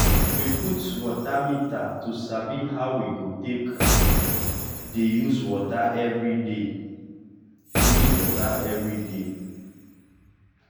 we put water meter to sabi how we take dey use water everyday. use water everyday.